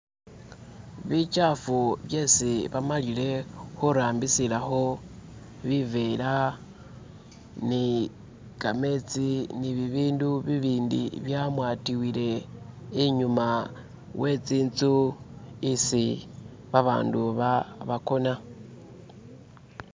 bichafu byesi bamalile hurambisilaho bivera nikametsi nibibindu bibindi byamwatiwile inyuma wetsintsu isi babandu ba isi bakona